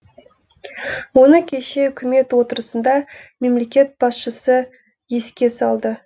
оны кеше үкімет отырысында мемлекет басшысы еске салды